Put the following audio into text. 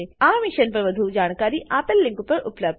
આ મિશન પર વધુ જાણકારી આપેલ લીંક પર ઉપબ્ધ છે